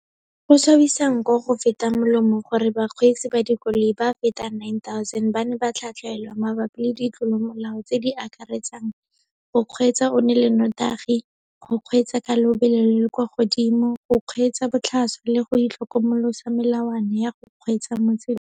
Go swabisa nko go feta molomo gore bakgweetsi ba dikoloi ba feta 9 000 ba ne ba tlhatlhelwa mabapi le ditlolomolao tse di akaretsang go kgweetsa o nole nnotagi, go kgweetsa ka lobelo le le kwa godimo, go kgweetsa botlhaswa le go itlhokomolosa melawana ya go kgweetsa mo tseleng.